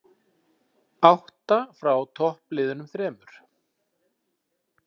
Átta frá toppliðunum þremur